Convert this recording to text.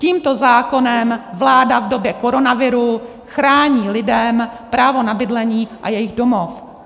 Tímto zákonem vláda v době koronaviru chrání lidem právo na bydlení a jejich domov.